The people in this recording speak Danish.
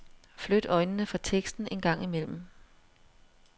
Flyt øjnene fra teksten en gang imellem.